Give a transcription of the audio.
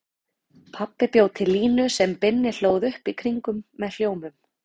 Pabbi bjó til línu sem Binni hlóð upp í kringum með hljómum.